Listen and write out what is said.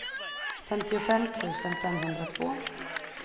femtiofem tusen femhundratvå